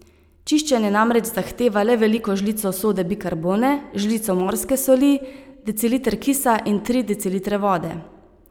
Čiščenje namreč zahteva le veliko žlico sode bikarbone, žlico morske soli, deciliter kisa in tri decilitre vode.